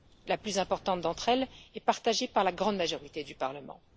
La plus importante d'entre elles est partagée par la grande majorité du Parlement.